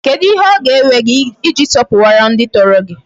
Kedu ihe o ga-ewe gi I ji sopuwara ndi toro gi?